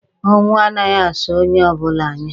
Ọnwụ a naghị asọ onye ọbụla anya.